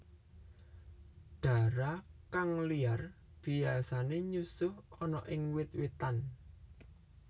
Dara kang liar biasane nyusuh ana ing wit witan